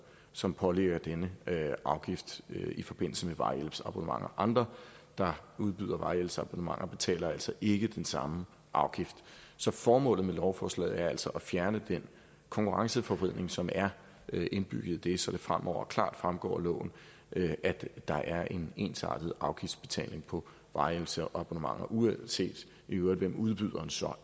som pålægger denne afgift i forbindelse med vejhjælpsabonnementer andre der udbyder vejhjælpsabonnementer betaler altså ikke den samme afgift så formålet med lovforslaget er altså at fjerne den konkurrenceforvridning som er indbygget i det så det fremover klart fremgår af loven at der er en ensartet afgiftsbetaling på vejhjælpsabonnementer uanset hvem udbyderen så